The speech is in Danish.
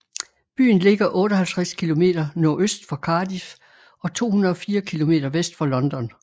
Byen ligger 58 km nordøst for Cardiff og 204 km vest for London